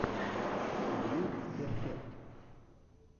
дьюд перфект